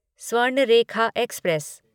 Swarnarekha express